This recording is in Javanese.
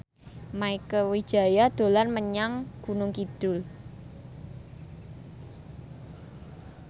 Mieke Wijaya dolan menyang Gunung Kidul